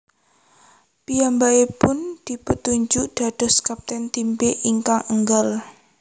Piyambakipun dipuntunjuk dados kapten Tim B ingkang enggal